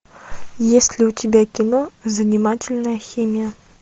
есть ли у тебя кино занимательная химия